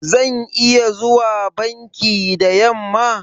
Zan iya zuwa banki da yamma?